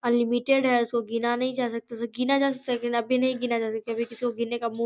unlimited है इसको गिना नहीं जा सकता इसको गिना जा सकता है लेकिन अभी नहीं गिना जाता सकता अभी किसी को गिनने का मो --